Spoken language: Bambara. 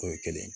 O ye kelen ye